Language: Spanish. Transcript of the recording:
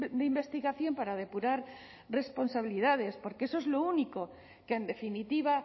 de investigación para depurar responsabilidades porque eso es lo único que en definitiva